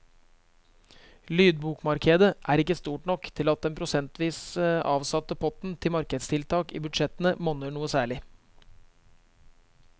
Lydbokmarkedet er ikke stort nok til at den prosentvis avsatte potten til markedstiltak i budsjettene monner noe særlig.